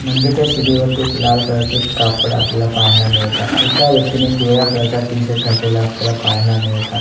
मंदिरच्या शिडीवरती एक लाल कलर चे कापड आपल्याला पाहायला मिळतात एका व्यक्तीने पिवळ्या कलर चा टी-शर्ट आपल्याला पाहायला मिळतात.